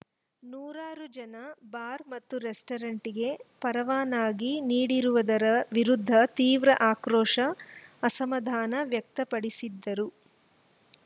ನೂರಾರು ಜನ ಬಾರ್‌ ಮತ್ತು ರೆಸ್ಟೋರೆಂಟ್‌ಗೆ ಪರವಾನಗಿ ನೀಡಿರುವುದರ ವಿರುದ್ಧ ತೀವ್ರ ಆಕ್ರೋಶ ಅಸಮಾಧಾನ ವ್ಯಕ್ತಪಡಿಸಿದರು